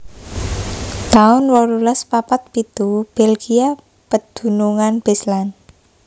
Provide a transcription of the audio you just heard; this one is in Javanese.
taun wolulas papat pitu Belgia pedunungan Beslan